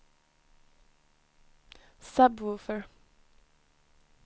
sub-woofer